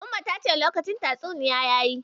Umma ta ce lokacin lokacin tatsuniya yayi.